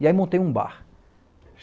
E aí montei um bar.